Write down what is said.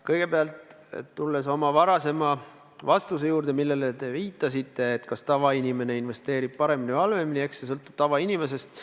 Kõigepealt, mis puudutab minu varasemast vastust, millele te viitasite – et kas tavainimene investeerib paremini või halvemini –, siis eks see sõltub tavainimesest.